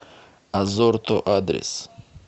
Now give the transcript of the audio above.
азорто адрес